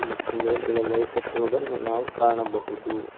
ಮತ್ತು ಮೇಲ್ಗಡೆ ಲೈಟ್ ಹಾಕಿರುವುದನ್ನು ನಾವು ಕಾಣಬಹುದು.